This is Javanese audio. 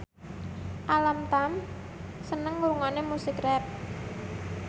Alam Tam seneng ngrungokne musik rap